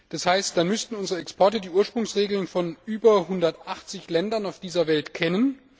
Das heißt, dann müssten unsere Exporteure die Ursprungsregeln von über 180 Ländern auf dieser Welt kennen.